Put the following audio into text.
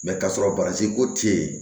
k'a sɔrɔ baransi ko te yen